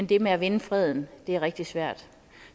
det med at vinde freden er rigtig svært